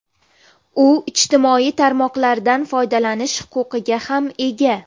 U ijtimoiy tarmoqlardan foydalanish huquqiga ham ega.